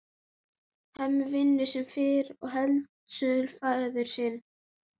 Hemmi vinnur sem fyrr í heildsölu föður síns.